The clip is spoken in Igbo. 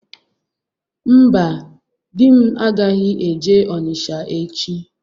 Mba, di m agaghị eje Onitsha echi.